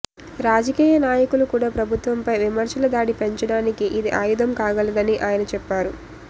రాజకీయ నాయకులు కూడా ప్రభుత్వంపై విమర్శల దాడి పెంచడానికి ఇది ఆయుధం కాగలదని ఆయన చెప్పారు